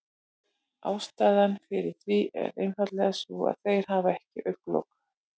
Ástæðan fyrir því er einfaldlega sú að þeir hafa ekki augnlok.